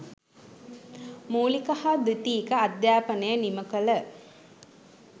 මූලික හා ද්විතීක අධ්‍යාපනය නිම කළ